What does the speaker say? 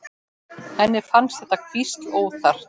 Henni finnst þetta hvísl óþarft.